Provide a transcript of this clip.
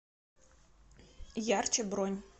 ярче бронь